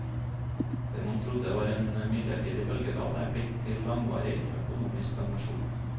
Det man trodde var en midlertidig bølgedal, er blitt til langvarig økonomisk stagnasjon.